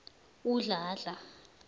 udladla